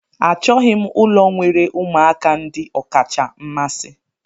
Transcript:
Achọghị m ụlọ nwere ụmụaka ndị ọkacha mmasị.